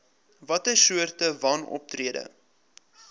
watter soorte wanoptrede